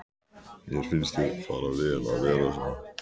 Mér finnst þér fara vel að vera svona.